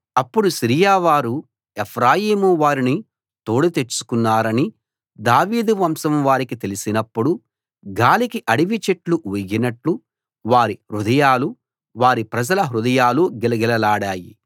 అప్పుడు సిరియా వారు ఎఫ్రాయిము వారిని తోడు తెచ్చుకున్నారని దావీదు వంశం వారికి తెలిసినప్పుడు గాలికి అడవి చెట్లు ఊగినట్టు వారి హృదయాలు వారి ప్రజల హృదయాలు గిలగిలలాడాయి